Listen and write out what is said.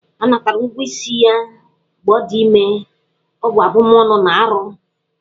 A natara ụgwọ isi ya mgbe ọ dị ime, ọ bụ abụmọnụ na arụ.